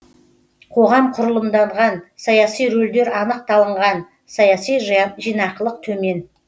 қоғам құрылымданған саяси рөлдер анық талынған саяси жинақылық төмен